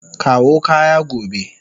Kawo kaya gobe.